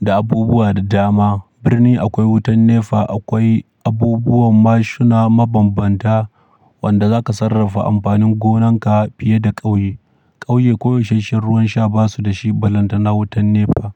da abubuwa da dama. Birni akwai wutan NEPA, akwai abubuwan mashuna mabambanta wanda zaka sarrafa amfanin gonan ka fiye da ƙauye. Ƙauye koyaushen ruwan sha ba su da shi balantana wutan NEPA.